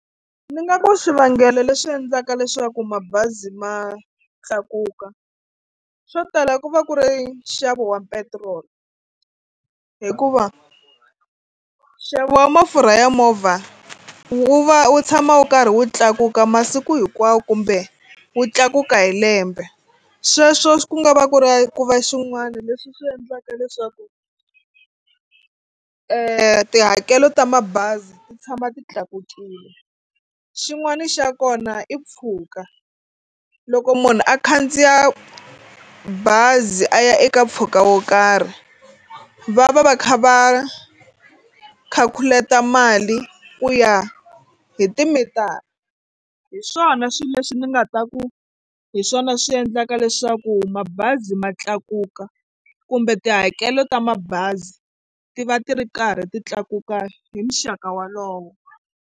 Ndzi nga ku swivangelo leswi endlaka leswaku mabazi ma tlakuka swo tala ku va ku ri nxavo wa petiroli hikuva nxavo wa mafurha ya movha wu va wu tshama wu karhi wu tlakuka masiku hinkwawo kumbe wu tlakuka hi lembe. Sweswo ku nga va ku ri ku va swin'wana leswi swi endlaka leswaku tihakelo ta mabazi ti tshama ti tlakukile. Xin'wana xa kona i mpfhuka loko munhu a khandziya bazi a ya eka mpfhuka wo karhi va va va kha va calculate mali ku ya hi timitara hi swona swilo leswi ni nga ta ku hi swona swi endlaka leswaku mabazi ma tlakuka kumbe tihakelo ta mabazi ti va ti ri karhi ti tlakuka hi muxaka wolowo.